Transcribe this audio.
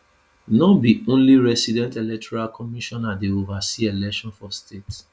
no be only resident electoral commissioner dey oversee election for state